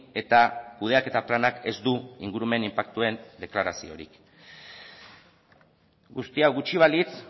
eta kudeaketa planak ez du ingurumen inpaktuen deklaraziorik guztia gutxi balitz